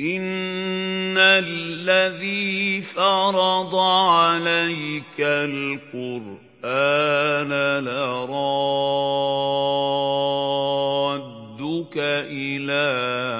إِنَّ الَّذِي فَرَضَ عَلَيْكَ الْقُرْآنَ لَرَادُّكَ إِلَىٰ